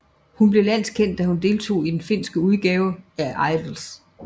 Hun blev landskendt da hun deltog i den finske udgave af Idols